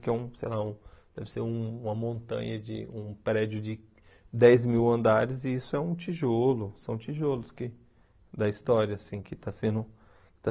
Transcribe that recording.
Que é um, sei lá, deve ser um uma montanha de, um prédio de dez mil andares, e isso é um tijolo, são tijolos que da história, assim, que está sendo está